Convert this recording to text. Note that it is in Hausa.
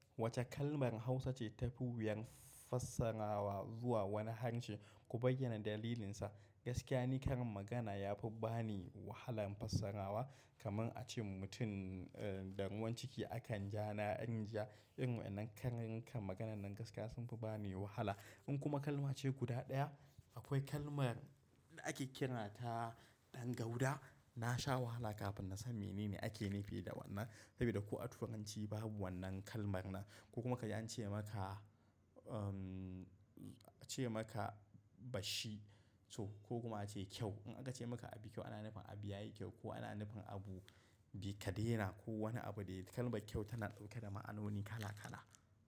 Wace kalmar Hausa ce tafi wuyan fassarawa zuwa wani harshe? Ku bayyana dalilinsa. Gaskiya ni karin magana yafi bani wahalan fassarawa kamar ace mutum, eh, da ruwan ciki akan ja na rijiya. Irin waɗannan karin karin maganan nan gaskiya sun fi bani wahala. In kuma kalmace guda ɗaya, akwai kalmar da ake kiran ta ɗan gauda. Nasha wahala kafin nasan menene ake nufi da wannan saboda ko a Turanci babu wannan kalmar nan. Ko kuma kaji ance maka, umm, ce maka bashi so ko kuma a ce ƙyau. In aka ce maka abi ƙyau, ana nufin abi yayi ƙyau ko ana nufin abu bita daina ko wani abu dai. Kalmar ƙyau tana ɗauke da ma'anoni kala kala.